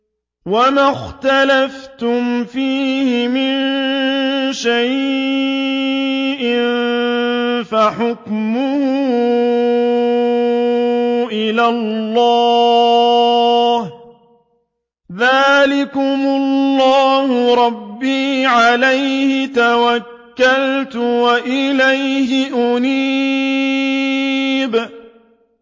وَمَا اخْتَلَفْتُمْ فِيهِ مِن شَيْءٍ فَحُكْمُهُ إِلَى اللَّهِ ۚ ذَٰلِكُمُ اللَّهُ رَبِّي عَلَيْهِ تَوَكَّلْتُ وَإِلَيْهِ أُنِيبُ